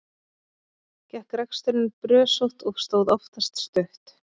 Gekk reksturinn brösótt og stóð oftast stutt.